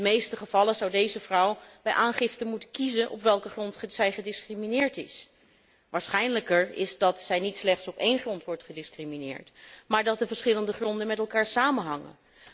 In de meeste gevallen zou deze vrouw bij aangifte moeten kiezen op welke grond zij gediscrimineerd is. Waarschijnlijker is dat zij niet slechts op één grond wordt gediscrimineerd, maar dat de verschillende gronden met elkaar samenhangen.